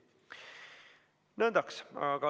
Nõndaks.